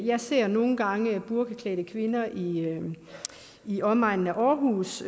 jeg ser nogle gange burkaklædte kvinder i i omegnen af aarhus